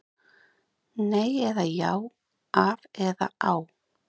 Nei eða já, af eða á?